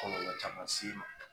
Kɔlɔlɔ caman s'i ma.